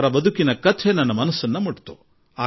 ಅವರ ಜೀವನ ನನ್ನ ಮನಸ್ಸನ್ನು ತಟ್ಟಿಬಿಟ್ಟಿತು